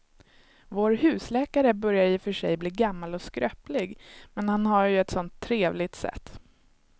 Vår husläkare börjar i och för sig bli gammal och skröplig, men han har ju ett sådant trevligt sätt!